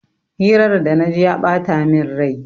Hirar da na ji ya bata min rai.